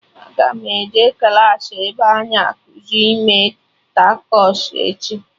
Aga m eje klaasị ebe a na-ekuzi ime takos echi